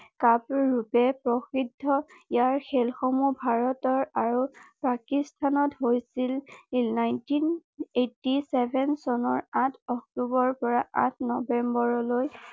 ৰূপে প্ৰসিদ্ধ ইয়াৰ খেলসমূহ ভাৰতৰ আৰু পাকিস্তানত হৈছিল নাইনটিন এইটটি চেভেন চনৰ আঠ অক্টোবৰ পৰা আঠ নৱেম্বৰলৈ